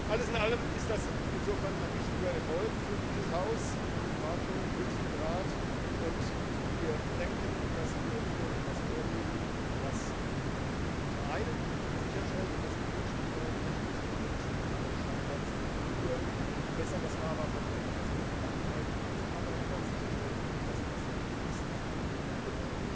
Alles in allem ist das ein wichtiger Erfolg für dieses Haus in den Verhandlungen mit dem Rat, und wir denken, dass wir hier etwas vorlegen, was zum einen sicherstellt, dass wir durch die neuen Rechnungslegungsstandards hier in besseres Fahrwasser kommen als in der Vergangenheit, zum anderen aber auch sicherstellt, dass dies fließend und ohne